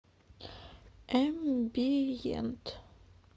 эмбиент